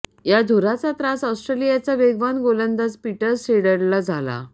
या धुराचा त्रास ऑस्ट्रेलियाचा वेगवान गोलंदाज पीटर सिडलला झाला